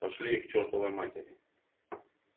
пошли их к чертовой матери